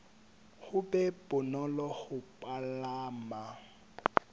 ho be bonolo ho palama